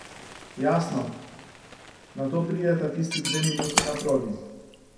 Jasno, nato prideta tisti dve minuti na progi.